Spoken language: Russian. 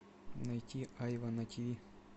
найти айва на тиви